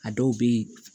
A dɔw bɛ yen